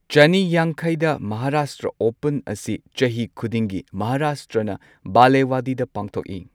ꯆꯅꯤ ꯌꯥꯡꯈꯩꯗ ꯃꯍꯥꯔꯥꯁꯇ꯭ꯔ ꯑꯣꯄꯟ ꯑꯁꯤ ꯆꯍꯤ ꯈꯨꯗꯤꯡꯒꯤ ꯃꯍꯥꯔꯥꯁꯇ꯭ꯔꯅ ꯕꯥꯂꯦꯋꯥꯗꯤꯗ ꯄꯥꯡꯊꯣꯛꯏ꯫